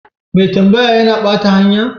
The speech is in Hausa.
Mai tambaya ya na bata hanya?